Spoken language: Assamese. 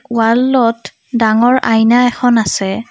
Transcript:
ৱালত ডাঙৰ আইনা এখন আছে।